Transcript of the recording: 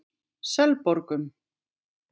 Selborgum